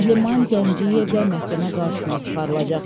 Əhliman Gəncəyev də məhkəmə qarşısına çıxarılacaq.